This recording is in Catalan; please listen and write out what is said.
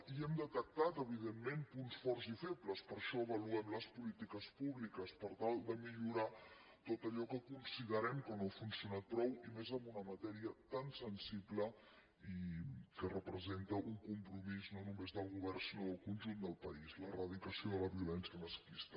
hi hem detectat evidentment punts forts i febles per això avaluem les polítiques públiques per tal de millorar tot allò que considerem que no ha funcionat prou i més en una matèria tan sensible i que representa un compromís no només del govern sinó del conjunt del país l’erradicació de la violència masclista